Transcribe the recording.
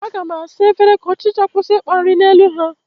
Aga m asa efere ka ọchịcha kwụsị ịkpa nri n'elu ha